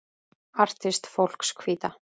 Artist fólks Hvíta.